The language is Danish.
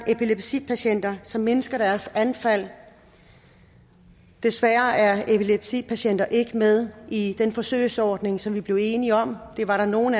epilepsipatienter som mindsker deres anfald desværre er epilepsipatienter ikke med i den forsøgsordning som vi blev enige om det var der nogle